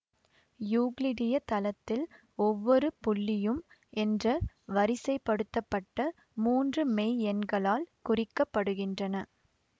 யூக்ளிடிய தளத்தில் ஒவ்வொரு புள்ளியும் என்ற வரிசைப்படுத்தப்பட்ட மூன்று மெய்யெண்களால் குறிக்க படுகின்றன